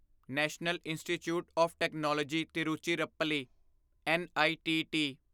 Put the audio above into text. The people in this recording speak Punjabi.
national institute of technology Tiruchirappalli NITT